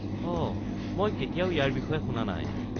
অঁ মই কেতিয়াও ইয়াৰ বিষয়ে শুনা নাই।